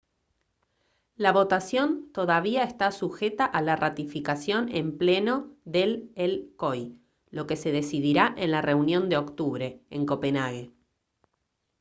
la votación todavía está sujeta a la ratificación en pleno del el coi lo que se decidirá en la reunión de octubre en copenhague